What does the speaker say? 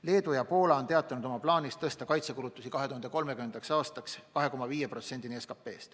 Leedu ja Poola on teatanud oma plaanist tõsta kaitsekulutusi 2030. aastaks 2,5%-ni SKP-st.